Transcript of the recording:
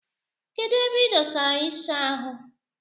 Kedụ ebe idosara isha ahụ?